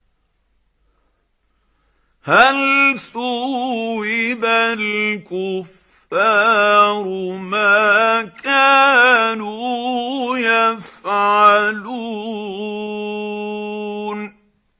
هَلْ ثُوِّبَ الْكُفَّارُ مَا كَانُوا يَفْعَلُونَ